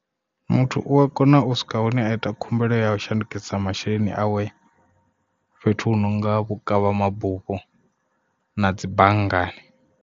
Muthu u a kona u swika hune a ita khumbelo ya u shandukisa masheleni awe fhethu hu nonga vhukavha mabufho na dzi banngani.